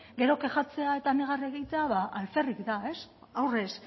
gero kexatzea eta negar egitea alferrik da aurrez